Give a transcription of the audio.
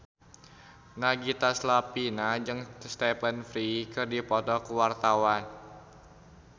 Nagita Slavina jeung Stephen Fry keur dipoto ku wartawan